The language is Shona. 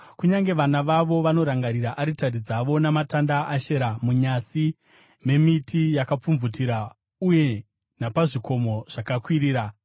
Kunyange vana vavo vanorangarira aritari dzavo namatanda aAshera munyasi memiti yakapfumvutira uye napazvikomo zvakakwirira.